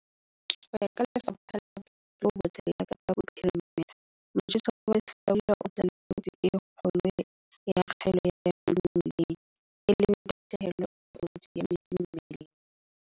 Ho ya ka Lefapha la Bophelo bo Botle la Kapa Bophirimela, motjheso wa lehlabula o tla le kotsi e kgolo ya kgaello ya metsi mmeleng, e leng tahlehelo e kotsi ya metsi mmeleng.